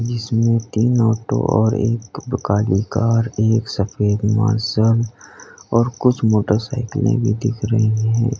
इसमें तीन ऑटो और एक काली कार एक सफेद मार्शल और कुछ मोटरसाइकिले भी दिख रही है।